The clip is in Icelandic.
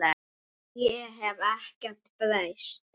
Ég hef ekkert breyst!